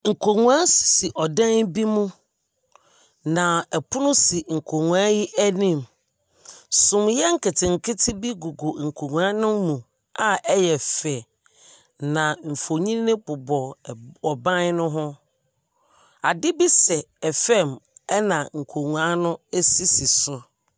Nkonnwa sisi ɔdan bi mu, na pono si nkonnwa yi anim. Sumiiɛ nketenkete bi gugu nkonnwa no mu a ɛyɛ fɛ, na mfonin bobɔ ɛb ɔban no ho. Ade bi sɛ fam ɛnna nkonnwa no sisi so.